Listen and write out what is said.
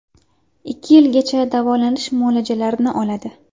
Ikki yilgacha davolanish muolajalarini oladi.